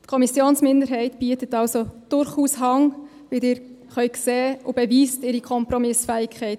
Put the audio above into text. Die Kommissionsminderheit biete also durchaus Hand, wie Sie sehen können, und beweist hier ihre Kompromissfähigkeit.